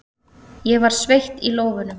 Ég var sveitt í lófunum.